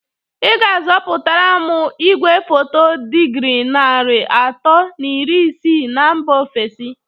Ị ga-azụpụtara m igwefoto dịgrị nari ato na iri isii na mba ofesi